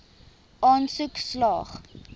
aansoek slaag